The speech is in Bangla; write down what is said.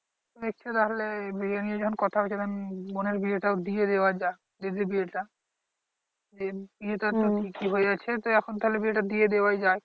দেখছে তাহলে বিয়ে নিয়ে যখন কথা হচ্ছে তখন বোনের বিয়েটাও দিয়ে দেয়া যাক দিদির বিয়েটা বিয়েটা তো ঠিকই হয়ে আছে তো এখন তাহলে বিয়েটা দিয়ে দেয়াই যায়